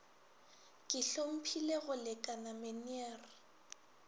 ke hlomphile go lekane meneer